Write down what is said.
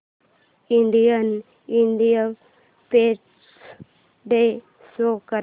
Indian independence day show कर